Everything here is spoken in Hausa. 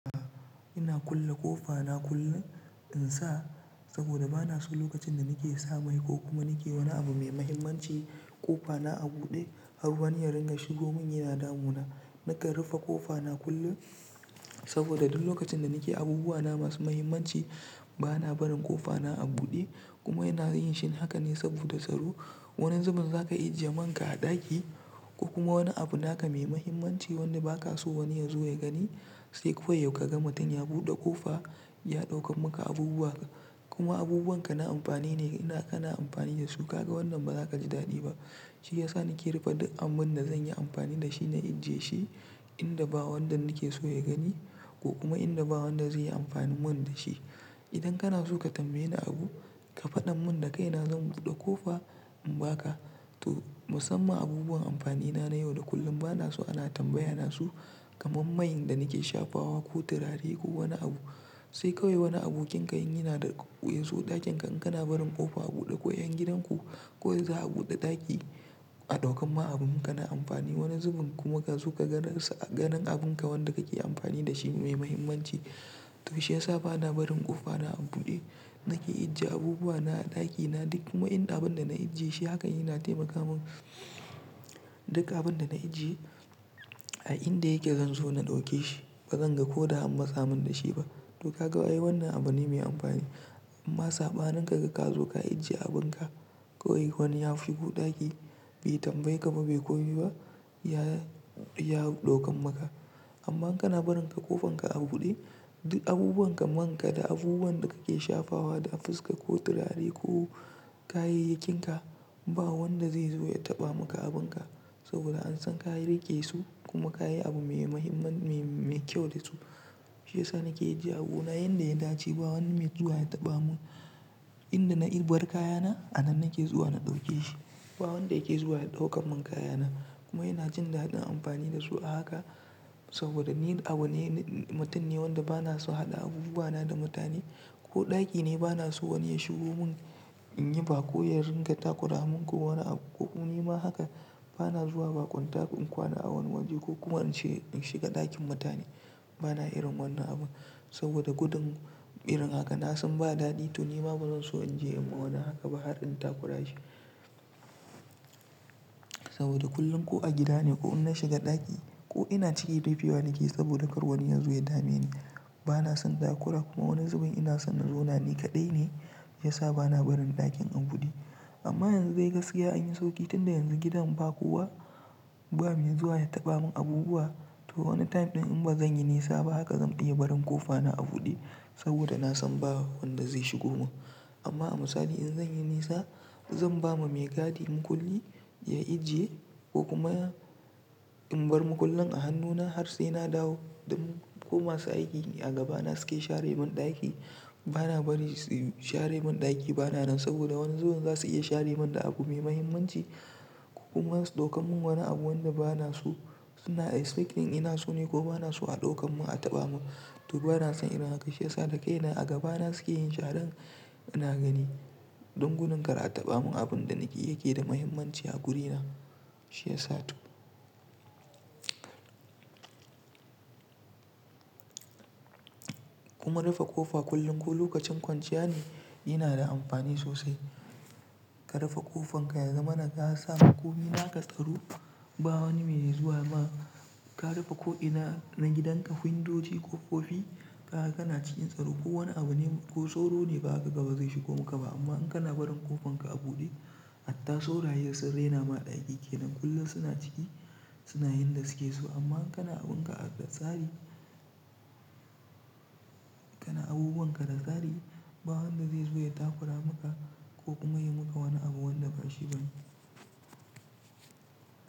Ah, ina kulle ƙofa na kullum in sa, saboda ba na so lokacin da nake sa mai ko kuma nake wani abu mai mahimmanci, ƙofa na a buɗe har wani ya ringa shigo mun yana damu na. Nakan rufe ƙofa na kullum, saboda duk lokacin da nake abubuwa na masu mahimmanci, ba na barin ƙofa na a buɗe, kuma ina yin shi haka ne saboda tsaro. Wani zubin za ka ijiye man ka a ɗaki, ko kuma wani abu naka mai mahimmanci wanda ba ka so wani ya zo ya gani, sai kawai ya, ka ga mutum ya buɗe ƙofa ya ɗaukan maka abubuwa ka. Kuma abubuwan ka na amfani ne, ina, kana amfani da su ka ga wannan ba za ka ji daɗi ba. Shi ya sa nake rufe duk abun da zan yi amfani da shi na ijiye shi, inda ba wanda nake so ya gani, ko kuma inda ba wanda zai yi amfani mun da shi. Idan kana so ka tambaye ni abu, ka faɗan mun da kai na zan buɗe ƙofa in ba ka. To, musamman abubuwan amfani na na yau da kullun ba na so ana tambaya na su, kamar man da nake shafawa ko turare ko wani abu, sai kawai wani abokin ka in yana da ƙa--yazo ɗakin ka in kana barin ƙofa a buɗe ko ƴan gidan ku, kawai za'a buɗe ɗaki a ɗaukan ma abun ka na amfani. Wani zubin kuma ka zo ka ganinsa-- a ganin abun ka wanda kake amfani da shi mai mahimmanci. To shi ya sa ba na barin ƙofa na a buɗe. Nake ijiye abubuwa na a ɗakina duk kuma inda abun da na ijiye shi haka yana taimaka mun. Duk abun da na ijiye, a inda yake zan zo na ɗauke shi. Ba zan ga ko da am matsa mun da shi ba. To ka ga wai wannan abu ne mai amfani, amma saɓanin kaga ka zo ka ajiye abun ka, kawai wani ya shigo ɗaki, bai tambaye ka ba bai komai ba ya, ya ɗaukan maka amma kana barin ƙofar ka a buɗe, duk abubuwan ka, man ka da abubuwan da kake shafawa da a fuska ko turare ko kayayyakinka, ba wanda zai zo ya taɓa maka abun ka, saboda an san ka riƙe su kuma ka yi abu mai mahimman, me, me kyau da su. Shi ya sa nake ijiye abuna yanda ya dace, ba wani mai zuwa ya taɓa mun. Inda na yi, bar kayana a nan nake zuwa na ɗauke shi. Ba wanda yake zuwa ya ɗaukan mun kayana, kuma ina jin daɗin amfani da su a haka saboda ni abu ne, mutum ne wanda ba na so haɗa abubuwa na da mutane, ko ɗaki ne ba na so wani ya shigo mun in yi ba ƙo ya ringa takura mun, mun ko wani abu ko ni ma haka ba na zuwa baƙunta in kwana a wani waje ko kuma in ce, in shiga ɗakin mutane. Ba na irin wannan abun, saboda gudun irin haka na san ba daɗi to ni ma ba zan so in je in ma wani haka ba har in takura shi. Saboda kullum ko a gida ne ko in na shiga ɗaki, ko ina ciki rife wa nake yi saboda kar wani ya zo ya dame ni. Ba na son takura, kuma wani zubin ina son na zauna ni kaɗai ne, ya sa ba na barin ɗakin a buɗe. Amma yanzu dai gaskiya an yi sauƙi tunda yanzu gidan ba kowa, ba mai zuwa ya taɓa mun abubuwa to wani time ɗin in ba zan yi nisa ba haka zan iya barin ƙofa na a buɗe, saboda na san ba wanda zai shigo mun. Amma a misali in zan yi nisa, zan ba ma mai gadi mukulli ya ijiye, ko kuma in bar mukullin a hannuna har sai na dawo. Dan, ko masu aiki a gaba na suke share mun ɗaki, ba na bari su share mun ɗaki ba na nan saboda wani zubin za su iya share mun da abu me mahimmanci, ko kuma su ɗaukan mun wani abu wanda ba na so, suna expecting ina so ne ko ba na so a ɗaukan mun a taɓa mun. To ba na son ina haka shi ya sa da kai na a gaba na suke yin sharan ina gani, don gudun kar a taɓa mun abun da nake, yake da mahimmanci a guri na. Shi ya sa to. Kuma rufe ƙofa kullum ko lokacin kwanciya ne yana da amfani sosai. Ka rufe ƙofan ka ya zama na ka sa komi na ka tsaro, ba wani mai zuwa ma, ka rufe ko ina na gidan ka windoji ƙokofi, kaga ka na cikin tsaro. Ko wani abu ne, ko sauro ne ba kaga ba zai shigo maka ba amma in kana barin ƙofan ka a buɗe, hatta sauraye sun raina ma ɗaki ke nan kullum suna ciki, suna yan da suke so, amma in kana abun ka a, da tsari, kana abubuwan ka da tsari, ba wanda zai zo ya takura maka, ko kuma ya maka wani abu wanda ba shi ba ne.